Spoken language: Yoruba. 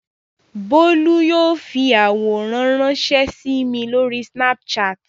Bólú yóò fi àwòrán ránṣẹ́ sí mi lórí Snapchat.